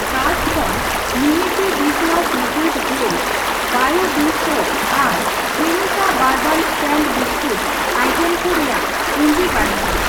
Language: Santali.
ᱠᱟᱨᱴ ᱠᱷᱚᱱ ᱱᱤᱢᱤᱥᱤ ᱰᱤᱥᱳᱣᱟᱥ ᱞᱮᱠᱩᱭᱤᱰ ᱡᱮᱞ, ᱵᱟᱭᱳ ᱰᱤ ᱥᱳᱯ ᱟᱨ Cremica bourbon stand biscuit item ᱠᱚ ᱨᱮᱭᱟᱜ ᱯᱩᱸᱡᱤ ᱵᱟᱹᱱᱩᱜᱼᱟ ᱾